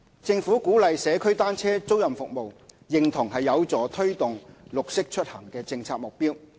政府鼓勵社區單車租賃服務，認同有助推動"綠色出行"的政策目標。